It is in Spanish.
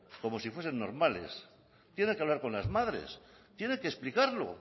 como si fuesen normales tiene que hablar con las madres tiene que explicarlo